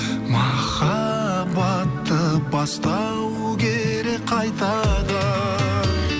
махаббатты бастау керек қайтадан